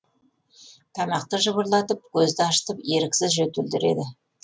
тамақты жыбырлатып көзді ашытып еріксіз жөтелдіреді